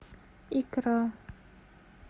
икра